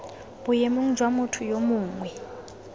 boemong jwa motho yo mongwe